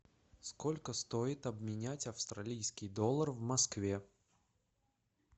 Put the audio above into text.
сколько стоит обменять австралийский доллар в москве